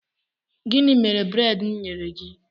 Gịnị mere breedi mụ nyere gị?